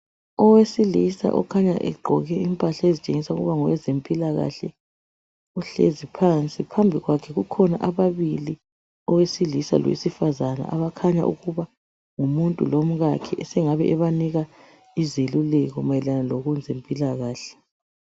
Owesilisa okhanya egqoke imphahla ezitshesa ukuba ngo wezemphilakahle, uhlezi phansi. Phambi kwakhe kukhona ababili, owesilisa ngowesifazane okukhanya ukubana ngumuntu lomngakhe esengani ubanika ezelulekho mayelana ngokwr zemphilakahle.